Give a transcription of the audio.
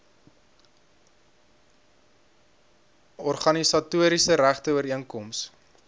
organisatoriese regte ooreenkoms